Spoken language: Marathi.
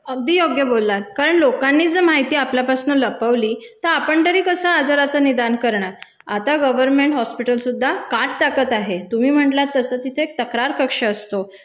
अगदी योग्य बोललात. कारण लोकांनी जं माहिती आपल्यापासून लपवली तं आपण तरी कसं आजाराचं निदान करणार? आता गर्व्हनमेंट हॉस्पिटलसुद्धा काट टाकत आहे. तुम्ही म्हंटलात तसं तिथे एक तक्रार कक्ष असतो,